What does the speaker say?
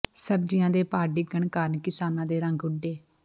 ਸਬਜ਼ੀਆਂ ਦੇ ਭਾਅ ਡਿੱਗਣ ਕਾਰਨ ਕਿਸਾਨਾਂ ਦੇ ਰੰਗ ਉੱਡੇ